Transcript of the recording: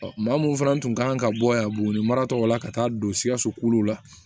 Ɔ maa mun fana tun kan ka bɔ yan buguni marataw la ka taa don sikaso kolo la